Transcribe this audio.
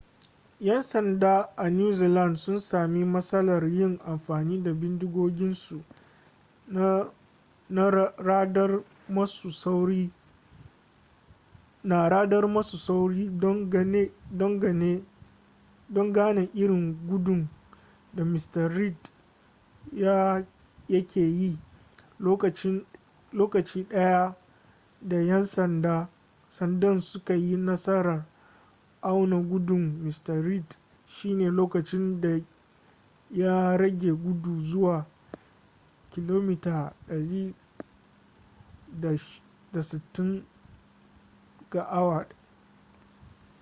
'yan sanda a new zealand sun sami matsalar yin amfani da bindigoginsu na radar masu sauri don gane irin gudun da mr reid ya ke yi lokaci daya da yan sandan suka yi nasarar auna gudun mr reid shine lokacin da ya rage gudu zuwa 160km / h